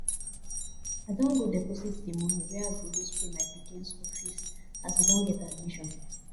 i don go deposit the money wey i go use pay my pikin school fees as he don get admission